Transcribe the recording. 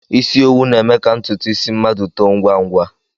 Isi owu na-eme ka ntụtụ isi mmadụ too ngwá ngwá